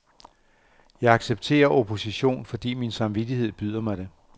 Jeg accepterer opposition, fordi min samvittighed byder mig det.